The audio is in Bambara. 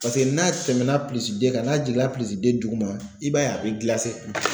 Paseke n'a tɛmɛ na kan n'a jiginna duguma i b'a ye a be gilase.